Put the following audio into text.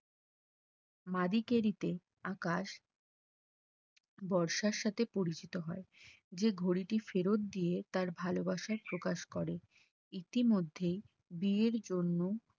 মা দিকে দিতে আকাশ বর্ষার সাথে পরিচিত হয় যে ঘড়িটি ফেরত দিয়ে তার ভালোবাসা প্রকাশ করে, ইতিমধ্যেই বিয়ের জন্য